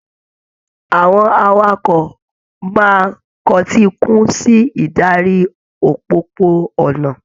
Àwọn awakọ̀ máa kọtíikún sí ìdarí òpópó-ònà.